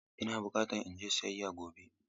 Ina buƙatan in je siyayya gobe.